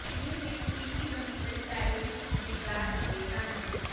ਇਹ ਸਟੇਸ਼ਨ ਤਿੰਨ ਕਿਲੋਮੀਟਰ ਦੇ ਦਾਇਰੇ ਵਿੱਚ ਸੁਣੇ ਜਾ ਸਕਦੇ ਹਨ